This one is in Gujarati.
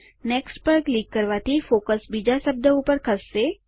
નેક્સ્ટ પર ક્લિક કરવાથી ફોકસ બીજા શબ્દ ઉપર ખસશે